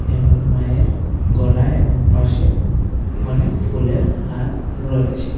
এবং মায়ের গলায় এবং পাশে অনেক ফুলের হার রয়েছে।